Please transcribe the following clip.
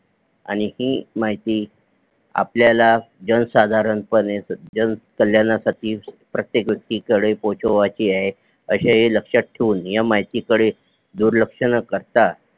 आणि ही माहिती आपल्याला जनसाधारण पणे जनकल्याणासाठी प्रत्येक व्यक्ती कडे पोचवायची आहे अशे हे लक्षात ठेऊन ह्या माहिती कडे दुर्लक्ष न करता